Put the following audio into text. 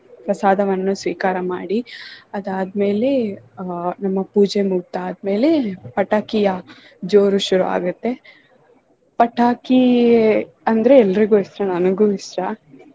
ಪ್ರಸಾದವನ್ನು ಸ್ವೀಕಾರ ಮಾಡಿ ಅದಾದ್ಮೆಲೆ ಆಹ್ ನಮ್ಮ ಪೂಜೆ ಮುಗ್ದಾದ್ಮೇಲೆ ಪಟಾಕಿಯ ಜೋರು ಶುರುವಾಗುತ್ತೆ ಪಟಾಕಿ ಅಂದ್ರೆ ಎಲ್ರಿಗೂ ಇಷ್ಟ ನನಗೂ ಇಷ್ಟ.